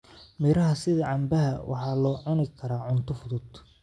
Miraha sida canbaha waxaa loo cuni karaa cunto fudud.